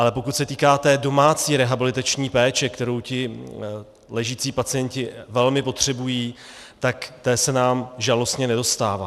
Ale pokud se týká té domácí rehabilitační péče, kterou ti ležící pacienti velmi potřebují, tak té se nám žalostně nedostává.